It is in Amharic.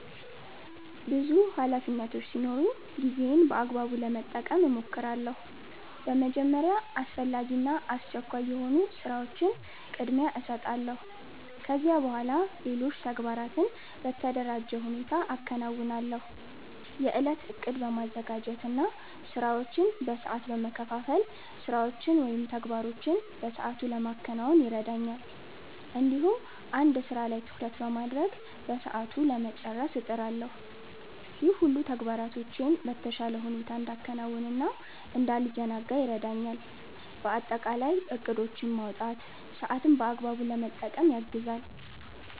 ብዙ ኃላፊነቶች ሲኖሩኝ ጊዜዬን በአግባቡ ለመጠቀም እሞክራለሁ። በመጀመሪያ አስፈላጊ እና አስቸኳይ የሆኑ ስራዎችን ቅድሚያ እሰጣለሁ። ከዚያ በኋላ ሌሎች ተግባራትን በተደራጀ ሁኔታ አከናውናለሁ። የእለት እቅድ በማዘጋጀት እና ስራዎችን በሰዓት በመከፋፈል ስራዎችን ወይም ተግባሮችን በሰአቱ ለማከናወን ይረዳኛል። እንዲሁም አንድ ስራ ላይ ትኩረት በማድረግ በሰዓቱ ለመጨረስ እጥራለሁ። ይህ ሁሉ ተግባራቶቼን በተሻለ ሁኔታ እንዳከናውን እና እንዳልዘናጋ ይረዳኛል። በአጠቃላይ እቅዶችን ማውጣት ሰአትን በአግባቡ ለመጠቀም ያግዛል።